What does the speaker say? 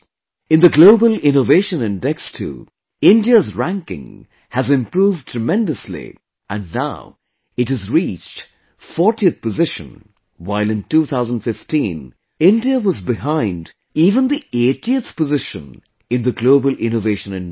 In the Global Innovation Index too, India's ranking has improved tremendously and now it has reached 40th position, while in 2015, India was behind even the 80th position in the Global Innovation Index